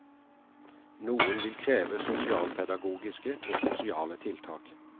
Noen vil kreve sosialpedagogiske og sosiale tiltak.